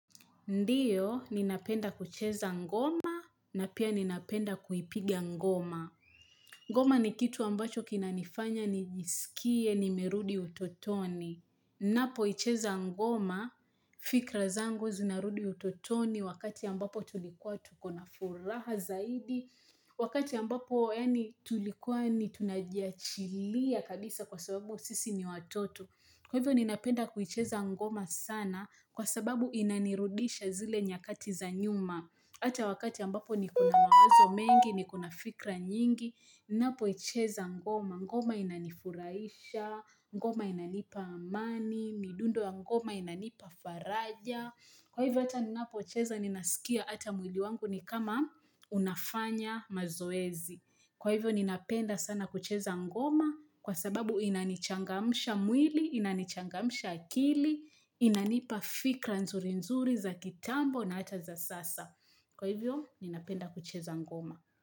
Ndiyo, ninapenda kucheza ngoma na pia ninapenda kuipiga ngoma. Ngoma ni kitu ambacho kina nifanya nijisikie nimerudi utotoni. Ninapoicheza ngoma, fikra zangu zinarudi utotoni wakati ambapo tulikuwa tukona furaha zaidi. Wakati ambapo, yaani tulikuwa ni tunajiachilia kabisa kwa sababu sisi ni watoto. Kwa hivyo ninapenda kuicheza ngoma sana kwa sababu inanirudisha zile nyakati za nyuma. Ata wakati ambapo niko na mawazo mengi, nikona fikra nyingi, ninapoicheza ngoma, ngoma inanifurahisha, ngoma inanipa amani, midundo ya ngoma inanipa faraja. Kwa hivyo ata ninapocheza ninasikia ata mwili wangu ni kama unafanya mazoezi. Kwa hivyo ninapenda sana kucheza ngoma kwa sababu inanichangamsha mwili, inanichangamsha akili, inanipa fikra nzuri-nzuri za kitambo na hata za sasa. Kwa hivyo ninapenda kucheza ngoma.